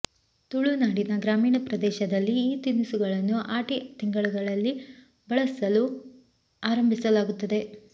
ತುಳುನಾಡಿನ ಗ್ರಾಮೀಣ ಪ್ರದೇಶದಲ್ಲಿ ಈ ತಿನಿಸುಗಳನ್ನು ಆಟಿ ತಿಂಗಳಲ್ಲಿ ಬಳಸಲು ಆರಂಭಿಸಲಾಗುತ್ತದೆ